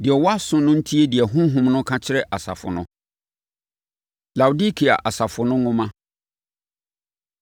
Deɛ ɔwɔ aso no ntie deɛ Honhom no ka kyerɛ asafo no. Laodikea Asafo No Nwoma